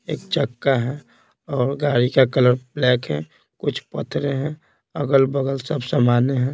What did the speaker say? एक चक्का है और गाड़ी का कलर ब्लैक है कुछ पत्थरे हैं अगल-बगल सब सामान हैं।